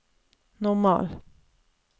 normal